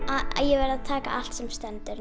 ég verð að taka allt sem stendur